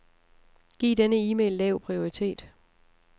Giv denne e-mail lav prioritet.